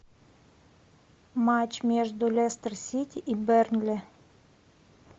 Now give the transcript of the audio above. матч между лестер сити и бернли